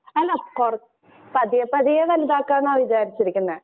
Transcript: അല്ല കൊറ, പതിയെ പതിയെ വലുതാക്കാം എന്നാ വിചാരിച്ചിരിക്കുന്നെ.